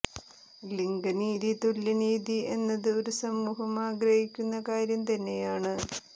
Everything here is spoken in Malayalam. ലിംഗ നീതി തുല്യ നീതി എന്നത് ഒരു സമൂഹം ആഗ്രഹിക്കുന്ന കാര്യം തന്നെയാണ്